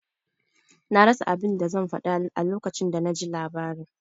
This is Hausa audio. Na rasa abin da zan faɗa a lokacin da naji labarin.